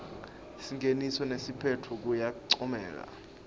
singeniso nesiphetfo kuyancomeka